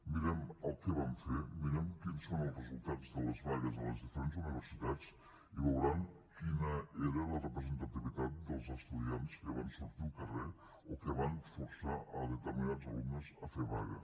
mirem el que van fer mirem quins són els resultats de les vagues a les diferents universitats i veuran quina era la representativitat dels estudiants que van sortir al carrer o que van forçar determinats alumnes a fer vaga